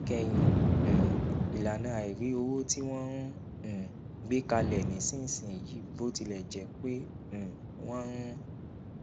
níkẹyìn um ìlànà àìrí owó tí wọn ń um gbé kalẹ nísinsìnyí bó tilẹ jẹ pé um wọn ń